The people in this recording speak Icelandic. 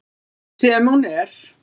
Sem hún er.